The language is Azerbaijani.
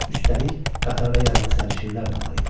Üstəlik, qatarda yaralı sərnişinlər də var idi.